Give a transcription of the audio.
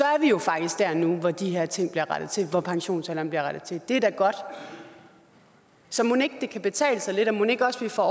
er jo faktisk der nu hvor de her ting bliver rettet til altså hvor pensionsalderen bliver rettet til det er da godt så mon ikke det kan betale sig lidt og mon ikke også vi får